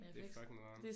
Det er fucking nederen